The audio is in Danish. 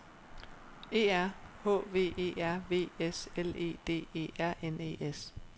E R H V E R V S L E D E R N E S